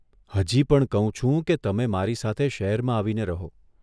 હજી પણ કહું છું કે તમે મારી સાથે શહેરમાં આવીને રહો.